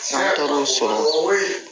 San taara o sɔrɔ